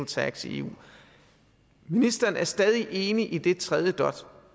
tax i eu ministeren er stadig enig i den tredje dot